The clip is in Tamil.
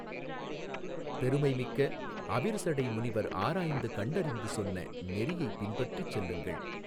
பெருமை மிக்க அவிர்சடை முனிவர் ஆராய்ந்து கண்டறிந்து சொன்ன நெறியைப் பின்பற்றிச் செல்லுங்கள்.